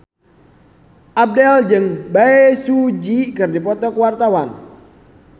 Abdel jeung Bae Su Ji keur dipoto ku wartawan